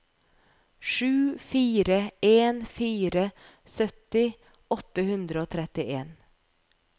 sju fire en fire sytti åtte hundre og trettien